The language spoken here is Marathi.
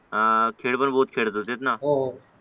आ खेळ पण बहोत खेळत होतेत ना हो हो